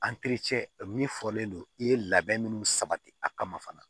min fɔlen don i ye labɛn minnu sabati a kama fana